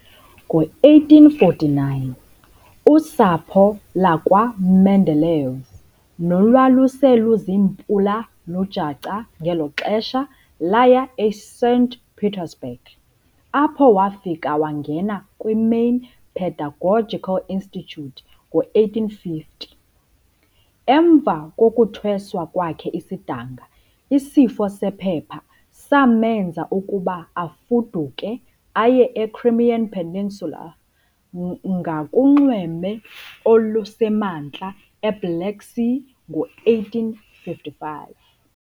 Ngo-1849, usapho lakwaMendeleev nolwaluse luziimpula zikalujaca ngelo xesha laya eSaint Petersburg, apho wafika wangena kwi-Main Pedagogical Institute ngo-1850. Emva kokuthweswa kwakhe isidanga, isifo sephepha samenza ukuba afuduke aye e-Crimean Peninsula ngakunxweme olusemantla eBlack Sea ngo-1855.